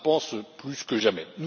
Je le pense plus que jamais.